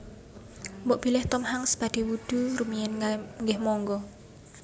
Mbok bilih Tom Hanks badhe wudhu rumiyin nggeh monggo